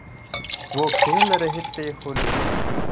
वो खेल रहे थे होली